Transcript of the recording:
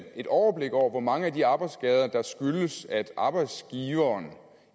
et overblik over hvor mange af de arbejdsskader der skyldes at arbejdsgiveren